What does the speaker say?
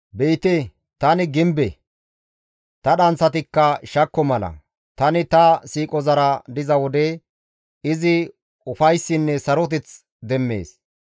«Be7ite tani gimbe; ta dhanththatikka shakko mala; tani ta siiqozara diza wode izi ufayssinne saroteth demmees.